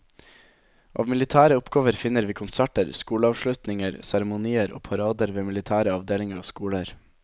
Av militære oppgaver finner vi konserter, skoleavslutninger, seremonier og parader ved militære avdelinger og skoler.